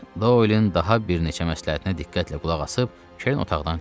Doylun daha bir neçə məsləhətinə diqqətlə qulaq asıb Kern otaqdan çıxdı.